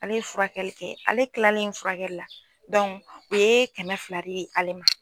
Ale furakɛli kɛ, ale kilalen furakɛli la o ye kɛmɛ fila di ale ma.